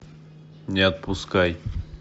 не отпускай